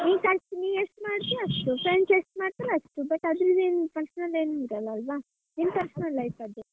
ನೀ ಖರ್ಚ್ ನೀಎಷ್ಟ್ ಮಾಡ್ತಿಯೋ ಅಷ್ಟ್ friends ಎಷ್ಟ್ ಮಾಡ್ತಾರೊ ಅಷ್ಟು but ಅಂದ್ರಿಂದೇನು personal ಏನ್ ಇರಲಲ್ವಾ ನಿನ್ personal life ಅದ್ದು.